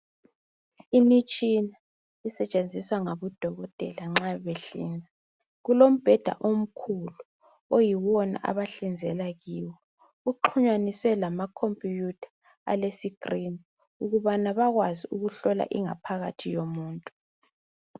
Imitshina esetshenziswa ngabodokotela nxa behlinza kulembheda omkhulu oyiwona bahlinzela kiyo uxhunyaniswe lamakomputha alesicrini ukubana bekwazi ukuhlola ingaphakathi yomuntu.